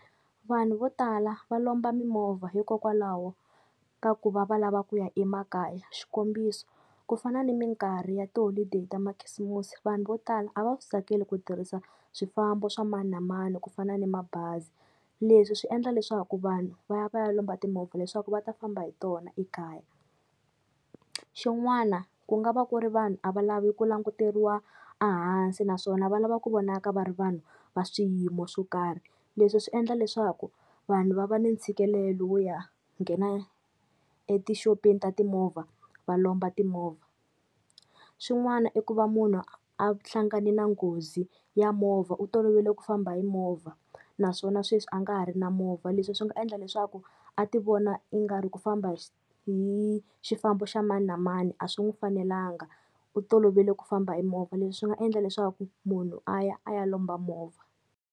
Vanhu vo tala va lomba mimovha hikokwalaho ka ku va va lava ku ya emakaya. Xikombiso ku fana ni minkarhi ya tiholodeyi ta makhisimusi, vanhu vo tala a va swi tsakeli ku tirhisa swifambo swa mani na mani ku fana ni mabazi. Leswi swi endla leswaku vanhu va ya va ya lomba timovha leswaku va ta famba hi tona ekaya. Xin'wana ku nga va ku ri vanhu a va lavi ku languteriwa ehansi naswona va lava ku vonaka va ri vanhu va swiyimo swo karhi, leswi swi endla leswaku vanhu va va ni ntshikelelo wo ya nghena etixopeni ta timovha va lomba timovha. Swin'wana i ku va munhu a hlangane na nghozi ya movha u tolovele ku famba hi movha naswona sweswi a nga ha ri na movha, leswi swi nga endla leswaku a ti vona ingari ku famba hi xifambo xa mani na mani a swi n'wi fanelanga u tolovele ku famba hi movha, leswi swi nga endla leswaku munhu a ya a ya lomba movha.